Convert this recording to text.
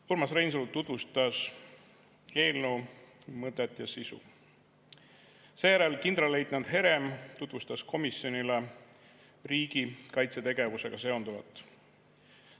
Urmas Reinsalu tutvustas eelnõu mõtet ja sisu, seejärel kindralleitnant Herem tutvustas komisjonile riigikaitsetegevusega seonduvat.